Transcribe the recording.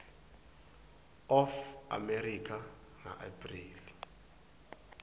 of america ngaapreli